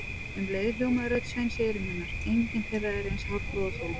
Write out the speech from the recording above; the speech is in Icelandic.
Um leið hljómaði rödd Sveins í eyrum hennar: engin þeirra er eins hárprúð og þú